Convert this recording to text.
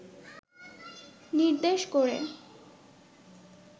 নির্দেশ করে